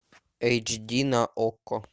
эйч ди на окко